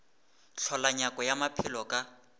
hlola nyako ya maphelo ka